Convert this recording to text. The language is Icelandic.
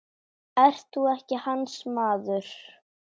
Ert þú ekki hans maður?